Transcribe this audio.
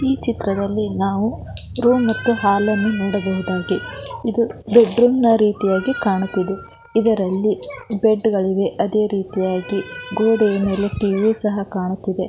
ಈ ಚಿತ್ರದಲ್ಲಿ ನಾವು ರೂಮ್ ಮತ್ತು ಹಾಲ್ ಅನ್ನು ನೋಡಬಹುದಾಗಿ ಇದು ಬೆಡ್ ರೂಮ್ ನ ರೀತಿಯಾಗಿ ಕಾಣುತ್ತಿದೆ ಇದರಲ್ಲಿ ಬೆಡ್ ಗಳಿವೆ ಅದೆ ರೀತಿಯಾಗಿ ಗೋಡೆಯ ಮೇಲೆ ಟಿವಿಯು ಸಹ ಕಾಣುತ್ತಿದೆ .